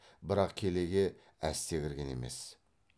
бірақ келеге әсте кірген емес